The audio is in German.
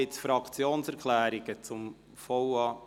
Gibt es Fraktionserklärungen zum VA?